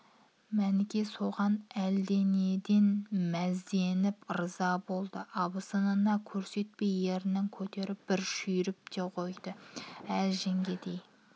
мәніке соған әлденеден мәзденіп ырза болды абысынына көрсетпей ернін көтеріп бір шүйіріп те қойды әзі жеңгендей